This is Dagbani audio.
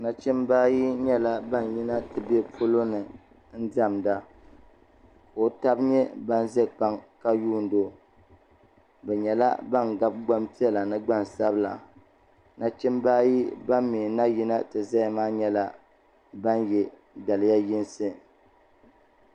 Nachimba ayi yɛla ban yina n ti bɛ polo ni n dɛmida ka o taba yɛ bani za kpaŋa ka yundi o bi yɛla bani gabi vbaŋ piɛla ni gbaŋ sabila nachimbi ayi Bani mi na yina ti zaya maa yɛla bani yiɛ daliya yinsi.